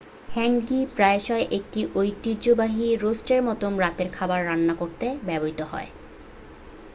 হ্যাঙ্গি প্রায়শই একটি ঐতিহ্যবাহী রোস্টের মতো রাতের খাবার রান্না করতে ব্যবহৃত হয়